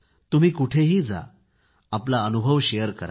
तुम्ही कुठेही जा आपला अनुभव शेअर करा